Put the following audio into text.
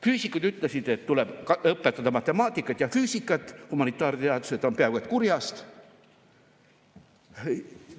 Füüsikud ütlesid, et tuleb õpetada matemaatikat ja füüsikat, humanitaarteadused on peaaegu et kurjast.